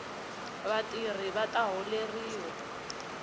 vatirhi vata holeriwa